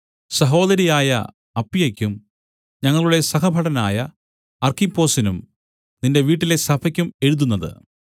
സഹോദരിയായ അപ്പിയയ്ക്കും ഞങ്ങളുടെ സഹഭടനായ അർക്കിപ്പൊസിനും നിന്റെ വീട്ടിലെ സഭയ്ക്കും എഴുതുന്നത്